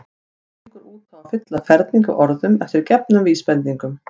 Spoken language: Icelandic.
Hann gengur út á að fylla ferning af orðum eftir gefnum vísbendingum.